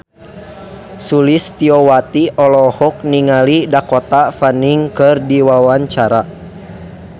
Sulistyowati olohok ningali Dakota Fanning keur diwawancara